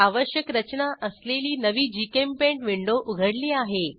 आवश्यक रचना असलेली नवी जीचेम्पेंट विंडो उघडली आहे